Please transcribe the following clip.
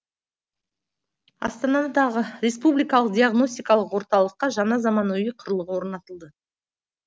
астанадағы республикалық диагностикалық орталыққа жаңа заманауи құрылғы орнатылды